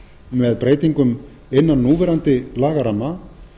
með breytingum innan núverandi lagaramma